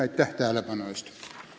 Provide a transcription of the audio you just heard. Aitäh tähelepanu eest!